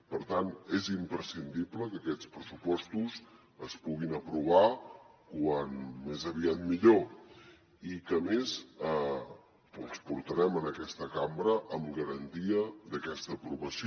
per tant és imprescindible que aquests pressupostos es puguin aprovar com més aviat millor i que a més els portarem en aquesta cambra amb garantia d’aquesta aprovació